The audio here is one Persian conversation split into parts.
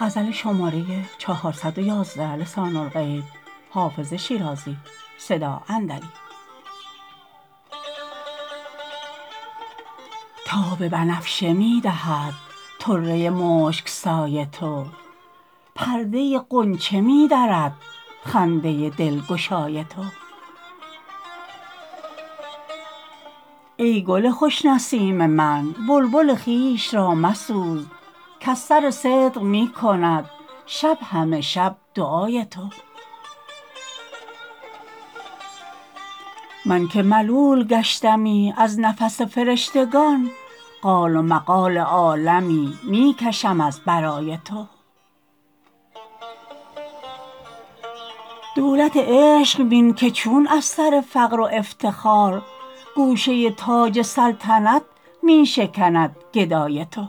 تاب بنفشه می دهد طره مشک سای تو پرده غنچه می درد خنده دلگشای تو ای گل خوش نسیم من بلبل خویش را مسوز کز سر صدق می کند شب همه شب دعای تو من که ملول گشتمی از نفس فرشتگان قال و مقال عالمی می کشم از برای تو دولت عشق بین که چون از سر فقر و افتخار گوشه تاج سلطنت می شکند گدای تو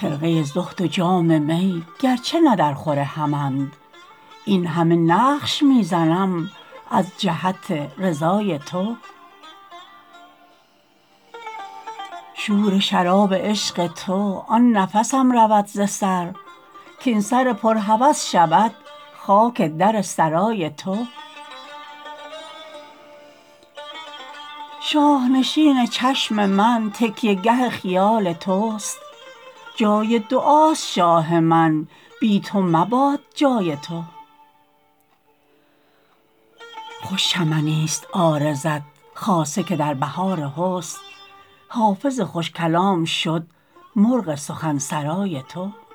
خرقه زهد و جام می گرچه نه درخور همند این همه نقش می زنم از جهت رضای تو شور شراب عشق تو آن نفسم رود ز سر کاین سر پر هوس شود خاک در سرای تو شاه نشین چشم من تکیه گه خیال توست جای دعاست شاه من بی تو مباد جای تو خوش چمنیست عارضت خاصه که در بهار حسن حافظ خوش کلام شد مرغ سخن سرای تو